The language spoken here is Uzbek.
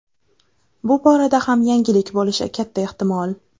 Bu borada ham yangilik bo‘lishi katta ehtimol.